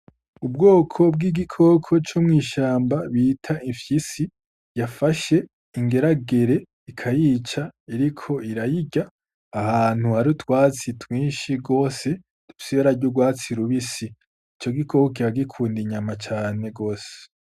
Ubwoko bw'igikoko co mw'ishamba bita imfyisi yafashe ingeragere ikayica, iriko irayirya ahantu hari utwatsi twinshi gose dufise ibara ry'urwatsi rubisi. Ico gikoko kiba gikunda inyama cane gose.